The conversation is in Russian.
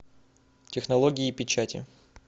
технологии печати